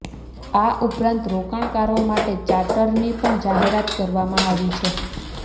આ ઉપરાંત રોકાણકારો માટે ચાર્ટરની પણ જાહેરાત કરવામાં આવી છે